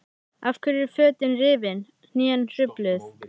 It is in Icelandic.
Af hverju eru fötin rifin, hnén hrufluð?